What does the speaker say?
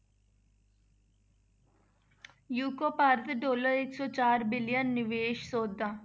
UK Bharat dollar ਇੱਕ ਸੌ ਚਾਰ billion ਨਿਵੇਸ ਸੌਦਾ।